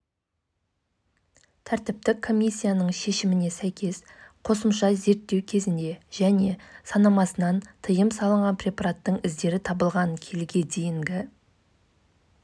қуатын өндіріп шығару үшін көбіне көмірді қолданатын аймақтың ошақтары одан бас тартуы тиіс немесе табиғатқа